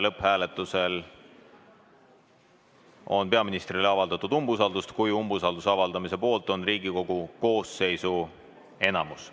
Lõpphääletusel on peaministrile avaldatud umbusaldust siis, kui umbusalduse avaldamise poolt on Riigikogu koosseisu enamus.